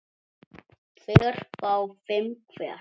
tveir fái fimm hver